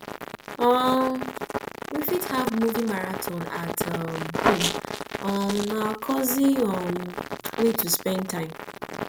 um we fit have movie marathon at home um na cozy um way to spend time